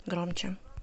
громче